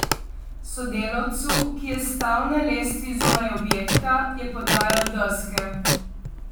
Sodelavcu, ki je stal na lestvi zunaj objekta, je podajal deske.